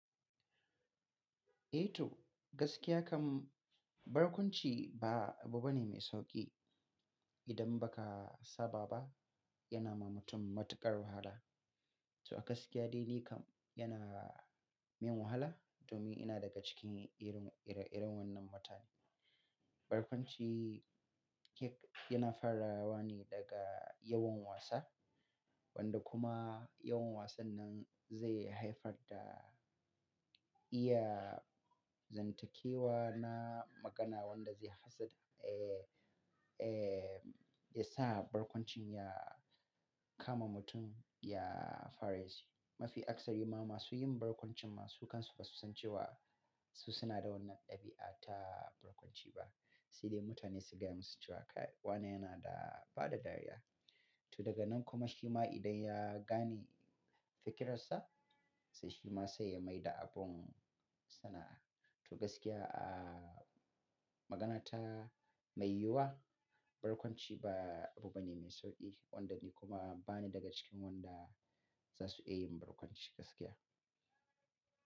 Eh to gaskiya kam barkwanci ba abu bane mai sauƙi. Idan ba ka saba ba yana ma mutum matuƙar wahala. To a gaskiya dai ni kam yana min wahala domin ina daga cikin irin, ire-iren wannan mutane. Barkwanci yana farawa ne daga yawan wasa wanda kuma yawan wasan nan zai haifar da iya zantakewa na magana wanda zai hassada, ya sa barkwancin ya kama mutum, ya fara yi shi. Mafi akasari ma masu yin barkwanci ma su kansu ba su san cewa su suna da wannan ɗabi'a ta barkwanci ba. Si dai mutane su gaya musu cewa kai wane yana da bada dariya. To daga nan kuma shi ma idan ya gane fikirarsa, sai shi ma sai ya maida abun sana'a. To gaskiya, magana ta mai yiwuwa, barkwanci ba abu bane mai sauƙi wanda ni kuma bani daga cikin wanda za su iya yin barkwanci gaskiya.